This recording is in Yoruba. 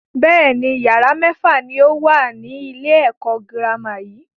Bẹ́ẹ̀ni, yàrá mẹ́fà ni ó wà ní ilé ẹ̀kọ́ girama yìí.